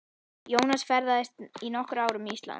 Jónas ferðaðist í nokkur ár um Ísland.